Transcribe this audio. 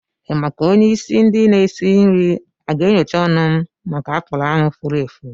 Ị ma ka onye isi ndi n'esi nri a ga-enyocha ọnụ m maka apụlụ ahu fúrú èfù?